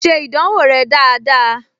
Ṣe ìdánwò rẹ dáadáa!